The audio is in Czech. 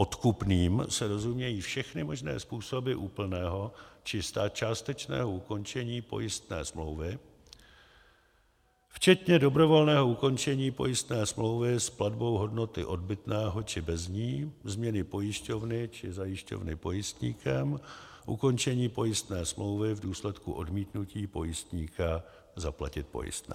Odkupným se rozumějí všechny možné způsoby úplného či částečného ukončení pojistné smlouvy včetně dobrovolného ukončení pojistné smlouvy s platbou hodnoty odbytného či bez ní, změny pojišťovny či zajišťovny pojistníkem, ukončení pojistné smlouvy v důsledku odmítnutí pojistníka zaplatit pojistné.